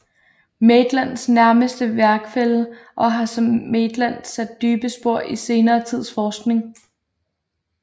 Maitlands nærmeste værkfælle og har som Maitland sat dybe spor i senere tids forskning